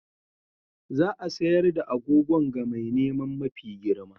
Za a sayar da agogon ga mai neman mafi girma.